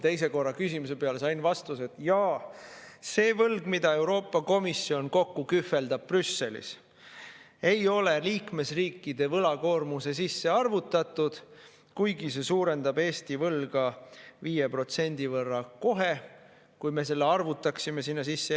Teistkordse küsimise peale sain vastuse, et jaa, see võlg, mida Euroopa Komisjon kokku kühveldab Brüsselis, ei ole liikmesriikide võlakoormuse sisse arvutatud, kuigi see suurendab Eesti võlga 5% võrra kohe, kui me selle arvutaksime sinna sisse.